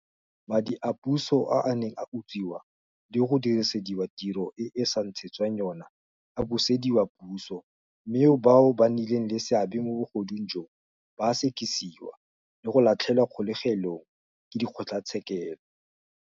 Madi a puso a a neng a utswiwa le go dirisediwa tiro e a sa ntshetswang yona a busediwa puso mme bao ba nnileng le seabe mo bogodung joo ba a sekisiwa le go latlhelwa kgolegelong ke dikgotlatshekelo.